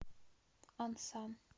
ансан